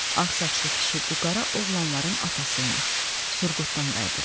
Ağsaçlı kişi bu qara oğlanların atası imiş, Surqutdan qayıdırdılar.